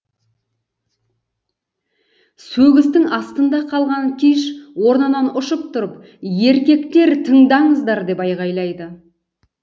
сөгістің астында қалған киш орнынан ұшып тұрып еркектер тыңдаңыздар деп айқайлайды